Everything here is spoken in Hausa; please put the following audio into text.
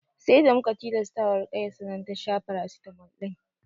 Sai da muka tilasta wa Ruƙayya sannan ta sha farasitamol ɗin